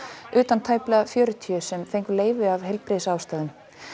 utan tæplega fjörutíu sem fengu leyfi af heilbrigðisástæðum